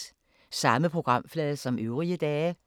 Samme programflade som øvrige dage